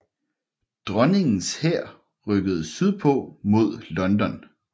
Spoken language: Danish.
Dronningens hær rykkede sydpå mod London